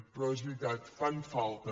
però és veritat fan falta